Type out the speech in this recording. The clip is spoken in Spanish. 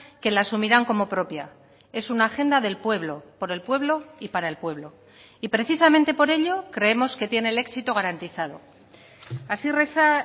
que la asumirán como propia es una agenda del pueblo por el pueblo y para el pueblo y precisamente por ello creemos que tiene el éxito garantizado así reza